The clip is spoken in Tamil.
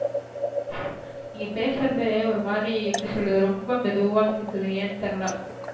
நீங்க பேசுறதே ஒரு மாதிரி எப்டி சொல்றது ரொம்ப மெதுவா கேக்குது ஏன்னு தெரியல?